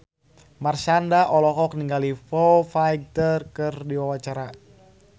Marshanda olohok ningali Foo Fighter keur diwawancara